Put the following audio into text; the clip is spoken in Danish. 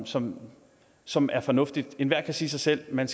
som som er fornuftige enhver kan sige sig selv at man